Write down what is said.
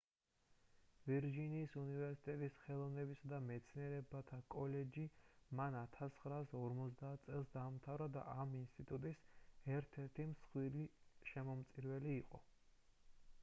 ვირჯინიის უნივერსიტეტის ხელოვნებისა და მეცნიერებათა კოლეჯი მან 1950 წელს დაამთავრა და ამ ინსტიტუტის ერთ-ერთი მსხვილი შემომწირველი იყო